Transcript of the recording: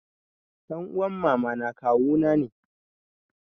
Ɗan uman mamana kawuna ne.